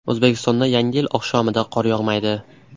O‘zbekistonda Yangi yil oqshomida qor yog‘maydi.